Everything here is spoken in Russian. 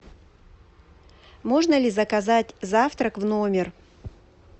можно ли заказать завтрак в номер